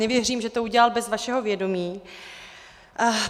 Nevěřím, že to udělal bez vašeho vědomí.